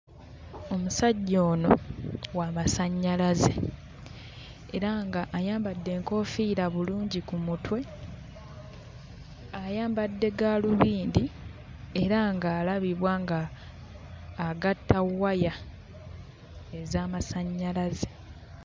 Omusajja ono wa masannyalaze, era ng'ayambadde enkoofiira bulungi ku mutwe. Ayambadde gaalubindi era ng'alabibwa ng'agatta waya ez'amasannyalaze